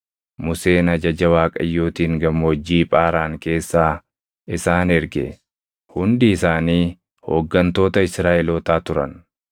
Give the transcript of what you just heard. Museen ajaja Waaqayyootiin Gammoojjii Phaaraan keessaa isaan erge. Hundi isaanii hooggantoota Israaʼelootaa turan.